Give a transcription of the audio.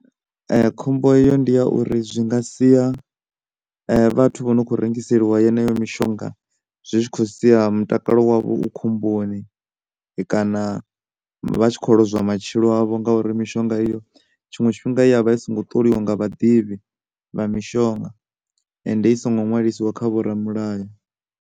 Khombo eyo ndi ya uri zwi nga sia vhathu vha no kho rengiseliwa yeneyo mishonga zwi tshi kho sia mutakalo wavho u khomboni kana vha tshi kho lozwa matshilo avho ngauri mushonga iyo tshiṅwe tshifhinga i ya vha i songo ṱoliwa nga vhaḓivhi vha mishonga ende i songo ṅwalisiwa kha vho ramulayo.